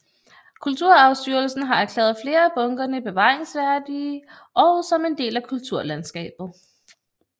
Kulturarvstyrelsen har erklæret flere af bunkerne bevaringsværdige og som en del af kulturlandskabet